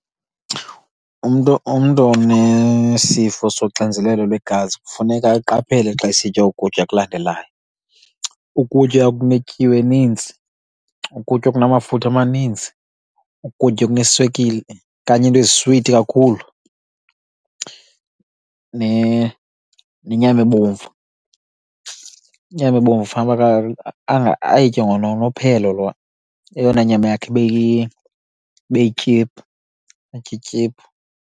Umntu umntu onesifo soxinzelelo lwegazi kufuneka aqaphele xa esitya oku kutya kulandelayo. Ukutya okunetyiwa eninzi, ukutya okunamafutha amaninzi, ukutya okuneswekile okanye iinto eziswiti kakhulu nenyama ebomvu. Inyama ebomvu fanuba ayitye ngononophelo, eyona nyama yakhe ibe ibe yityiphu, atye ityiphu.